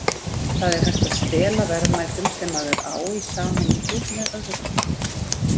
Það er hægt að stela verðmætum sem maður á í sameiningu með öðrum.